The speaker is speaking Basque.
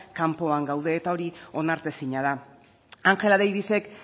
kanpoan gaude eta hori onartezina da angela davisek